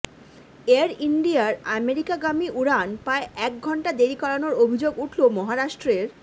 air ইন্ডিয়ার আমেরিকাগামী উড়ান প্রায় এক ঘণ্টা দেরি করানোর অভিযোগ উঠল মহারাষ্ট্রের